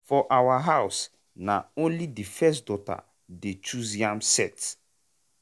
for our house na only the first daughter dey choose yam sett.